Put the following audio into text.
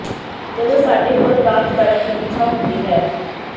ਜਦੋਂ ਸਾਡੇ ਕੋਲ ਪ੍ਰਾਪਤ ਕਰਨ ਦੀ ਇੱਛਾ ਹੁੰਦੀ ਹੈ